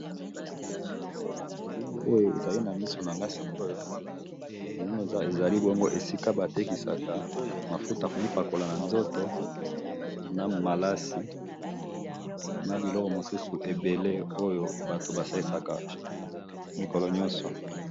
Na elili oyo ezali na misu nangayi sikoyo namoni ezali esika batekisaka mafuta ya ko pakola na nzoto na malasi na biloko misusu ebele batu basalisaka mikolo nyonso.